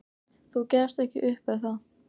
"""Þú gefst ekki upp, er það?"""